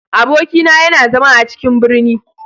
Abokina yana zama a cikin ɓirni.